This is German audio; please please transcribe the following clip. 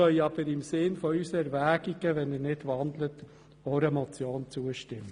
Doch wir könnten im Sinne unserer Erwägungen auch einer Motion zustimmen.